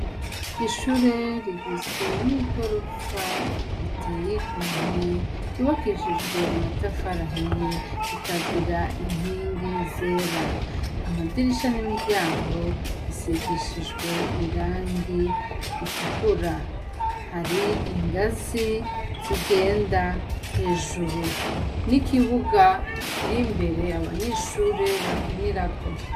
Ishure rigizwe n'igorofa riteye igomwe ryubakishijwe amatafari ahiye rikagira inkingi zera, amadirisha n'imiryango bisigishijwe irangi ritukura, hari ingazi zigenda hejuru n'ikibuga kirimbere abanyeshure bakinirako.